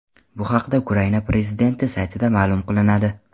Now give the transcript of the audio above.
Bu haqda Ukraina prezidenti saytida ma’lum qilinadi .